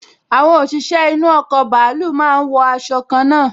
Àwọn òṣìṣẹ́ inú ọkọ̀ bàálù máa n wọ aṣọ kanna